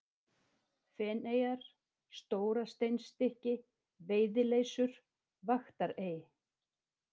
Feneyjar, Stórasteinsstykki, Veiðileysur, Vaktarey